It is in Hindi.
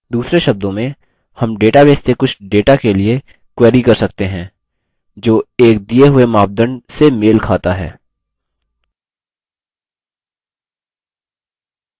दूसरे शब्दों में हम database से कुछ data के लिए query कर सकते हैं जो एक दिए हुए मापदंड से मेल data है